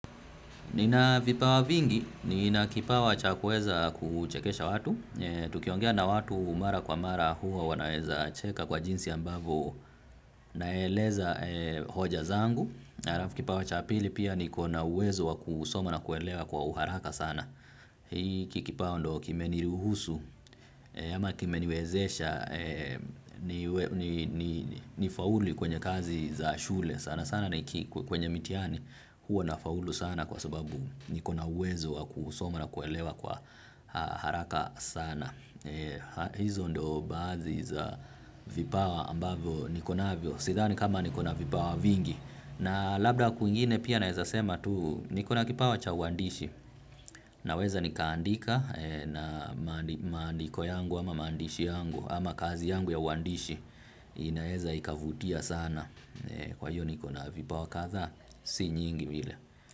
Nina vipawa vingi, nina kipawa cha kuweza kuchekesha watu, tukiongea na watu mara kwa mara huwa wanaweza cheka kwa jinsi ambavyo naeleza hoja zangu. Alafu pia kipawa cha pili pia nikona uwezo wa kusoma na kuelewa na uharaka sana. Hiki kipawa ndio kimeniruhusu ama kimeniwezesha nifaulu kwenye kazi za shule sana sana. Sana ni kwenye mitiani huwa nafaulu sana kwa sababu nikona uwezo wa kusoma na kuelewa kwa haraka sana. Hizo ndio baadhi za vipawa ambazo niko nazo sidhani kama niikona vipawa vingi na labda kwingine pia naeza sema tu nikona kipawa cha uandishi. Naweza nikaandika na maandiko yangu ama maandishi yangu ama kazi yangu ya uandishi inaeza ikavutia sana. Kwa hiyo nikona vipawa kadhaa si nyingi vile.